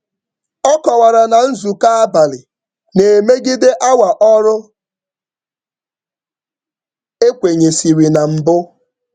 Ọ kọwara na nzukọ abalị na-emegide awa ọrụ e kwenyesịrị na mbụ.